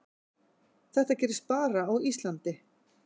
Þetta gerist bara á Íslandi.